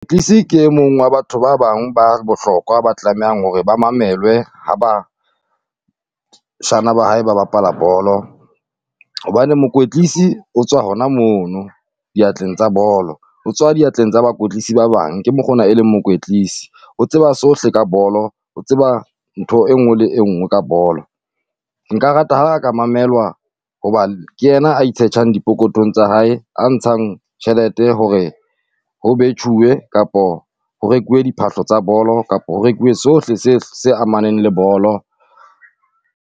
ke e mong wa batho ba bang ba bohlokwa ba tlamehang hore ba mamelwe ha bashana ba hae ba bapala bolo, hobane mokwetlisi o tswa hona mono diatleng tsa bolo. O tswa diatleng tsa bakwetsisi ba bang, ke mokgwa ona e leng mokwetlisi, o tseba sohle ka bolo, o tseba ntho e nngwe le e nngwe ka bolo. Nka rata ha a ka mamelwa hoba ke yena a itshetjhang diphokothong tsa hae, a ntshang tjhelete hore ho betjhuwe kapo ho rekuwe diphahlo tsa bolo kapo ho rekuwe sohle tse tse amaneng le bolo.